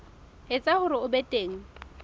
etsa hore ho be teng